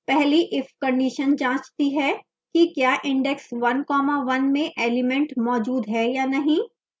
पहली if condition जाँचती हैं कि the index one comma one में element मौजूद है या नहीं